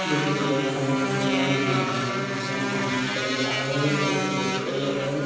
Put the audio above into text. इ एगो बोरा के अंदर बोरा नियर है पूरा गहुम --